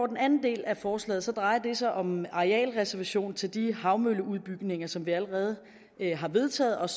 den anden del af forslaget drejer sig om arealreservationer til de havvindmølleudbygninger som vi allerede har vedtaget